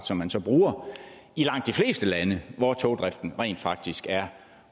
som man så bruger i langt de fleste lande hvor togdriften rent faktisk er